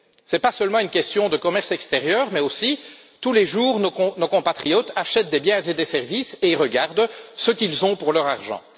Ce n'est pas seulement une question de commerce extérieur, puisque, tous les jours, nos compatriotes achètent des biens et des services et regardent ce qu'ils ont pour leur argent.